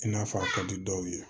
I n'a fɔ a ka di dɔw ye